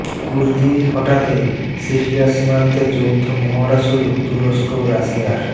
কুর্দি হটাতে সিরিয়া সীমান্তে যৌথ মহড়া শুরু তুরস্ক ও রাশিয়ার